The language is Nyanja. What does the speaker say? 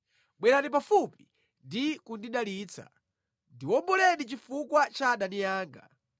Bwerani pafupi ndi kundilanditsa; ndiwomboleni chifukwa cha adani anga.